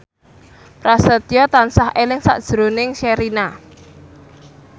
Prasetyo tansah eling sakjroning Sherina